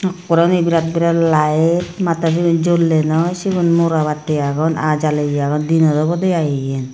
ekkureni biret biret light mattor siney jollei noi sigun mora battey agon aa jaleye agon dinot obowdey i iyen.